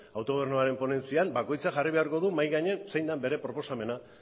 autogobernuaren ponentzian bakoitzak jarri beharko du mahai gainean zein da bere proposamena